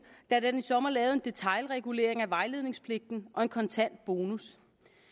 da den i sommer lavede en detailregulering af vejledningspligten og en kontant bonus